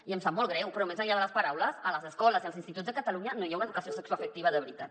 i em sap molt greu però més enllà de les paraules en les escoles i els instituts de catalunya no hi ha una educació sexoafectiva de veritat